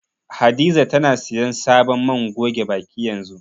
Hadiza tana siyan sabon man goge baki yanzu.